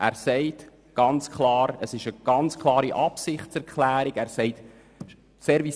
Er sagt ganz deutlich, dass der Service Public in bernischer Hand bleibt.